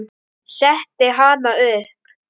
Setti hana upp.